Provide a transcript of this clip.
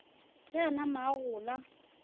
ge a nama a gola